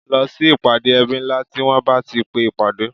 Lọ sí ìpàdé ẹbí ńlá tí wọn bá ti pe ìpàdé